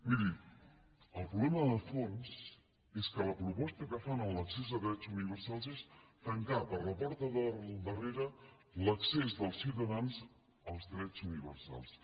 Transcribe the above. miri el problema de fons és que la proposta que fan a l’accés de drets universals és tancar per la porta del darrere l’accés dels ciutadans als drets universals